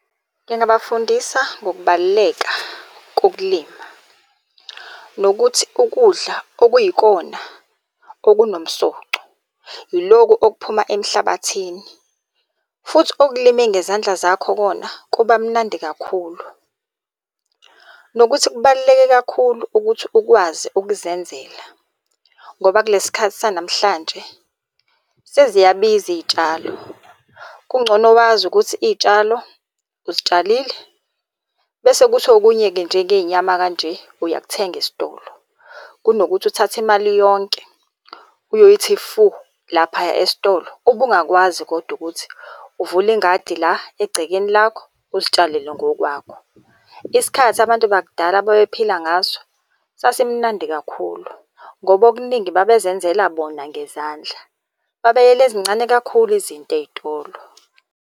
Ngingabafundisa ngokubaluleka kokulima. Nokuthi ukudla okuyikona okunomsoco yilokhu okuphuma emhlabathini, futhi okulime ngezandla zakho kona kuba mnandi kakhulu. Nokuthi kubaluleke kakhulu ukuthi ukwazi ukuzenzela ngoba kulesi sikhathi sanamhlanje seziyabiza iy'tshalo. Kungcono wazi ukuthi iy'tshalo uzitshalile, bese kuthi okunye-ke njengey'nyama kanje, uyakuthenga esitolo. Kunokuthi uthathe imali yonke uyoyithi fu laphaya esitolo ubungakwazi kodwa ukuthi uvule ingadi la egcekeni lakho uzitshalele ngokwakho. Isikhathi abantu bakudala ababephila ngaso sasimunandi kakhulu ngoba okuningi babezenzela bona ngezandla. Babeyela ezincane kakhulu izinto ey'tolo.